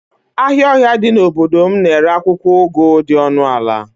ahịa ọhịa dị n'obodo m na-ere akwụkwọ ugu dị ọnụ ala